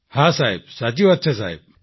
હા સાહેબ સાચી વાત છે સાહેબ